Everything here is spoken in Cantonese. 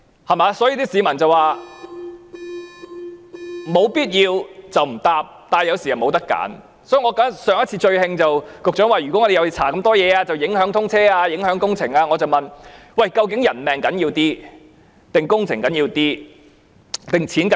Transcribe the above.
所以，上一次令我最生氣的是，局長說如果我們要調查這麼多事情便會影響通車、影響工程，我問局長，究竟人命較重要或工程較重要？